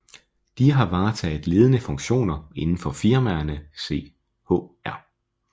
De har varetaget ledende funktioner inden for firmaerne Chr